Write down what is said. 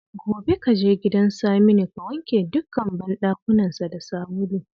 Gobe ka je gidan Saminu ka wanke dukkan bandakunansa da sabulu